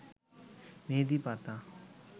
মেহেদী পাতা